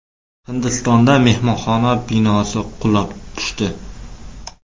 Hindistonda mehmonxona binosi qulab tushdi.